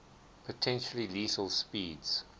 potentially lethal speeds